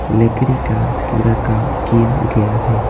लकड़ी का पूरा काम किया गया है।